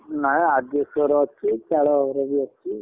ନାଇଁ asbestos ଘର ଅଛି ଚାଳ ଘର ଅଛି।